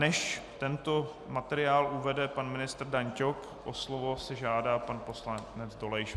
Než tento materiál uvede pan ministr Dan Ťok, slovo si žádá pan poslanec Dolejš.